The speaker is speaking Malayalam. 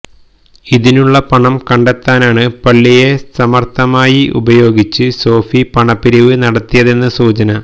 ഇതിനുള്ള പണം കണ്ടെത്താനാണ് പള്ളിയെ സമർത്ഥമായി ഉപയോഗിച്ച് സോഫി പണപ്പിരിവ് നടത്തിയതെന്നാണ് സൂചന